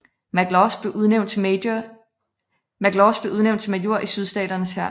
McLaws blev udnævnt til major i Sydstaternes hær